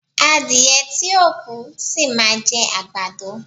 Adíyẹ́ tí o kú, ṣí má jẹ agbàdọ